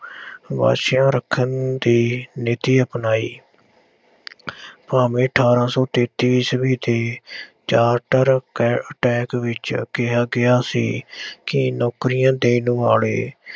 ਵਾਸਿਆ ਰੱਖਣ ਦੀ ਨੀਤੀ ਅਪਣਾਈ ਭਾਵੇਂ ਅਠਾਰਾਂ ਸੌ ਤੇਤੀ ਈਸਵੀ ਦੀ ਚਾਰਟਰ ਕ attack ਵਿੱਚ ਕਿਹਾ ਕਿਹਾ ਸੀ ਕਿ ਨੌਕਰੀਆਂ ਦੇਣ ਵਾਲੇ